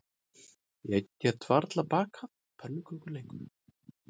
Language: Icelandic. Ég get varla bakað pönnukökur lengur